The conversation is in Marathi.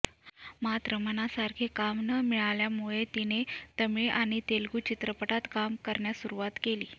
मात्र मनासारखे काम न मिळाल्यामुळे तिने तमिळ आणि तेलुगू चित्रपटात काम करण्यास सुरुवात केली